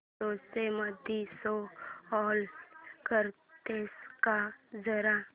photos मध्ये show off करतेस का जरा